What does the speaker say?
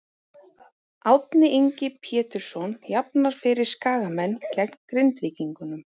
Árni Ingi Pjetursson jafnar fyrir Skagamenn gegn Grindvíkingum.